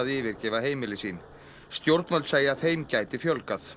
yfirgefa heimili sín stjórnvöld segja að þeim gæti fjölgað